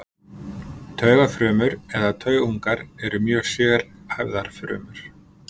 Taugafrumur eða taugungar eru mjög sérhæfðar frumur.